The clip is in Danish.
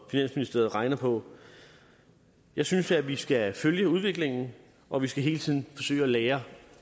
finansministeriet regner på jeg synes at vi skal følge udviklingen og vi skal hele tiden forsøge at lære